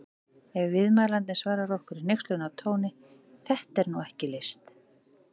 Ef viðmælandinn svarar okkur í hneykslunartóni: Þetta er nú ekki list!